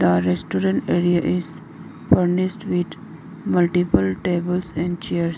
a restaurant area is furnished with multiple tables and chairs.